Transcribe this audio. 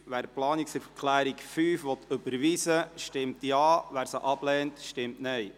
Wer die Planungserklärung 5 überweisen will, stimmt Ja, wer diese ablehnt, stimmt Nein.